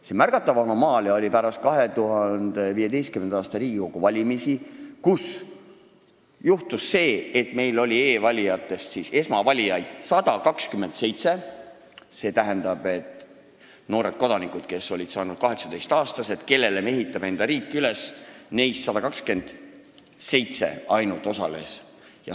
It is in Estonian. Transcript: See märgatav anomaalia tekkis 2015. aasta Riigikogu valimistel, kui juhtus see, et e-valijate hulgas oli esmavalijaid 127, st noortest kodanikest, kes olid saanud 18-aastaseks ja kelle jaoks me riiki üles ehitame, osales e-hääletusel ainult 127.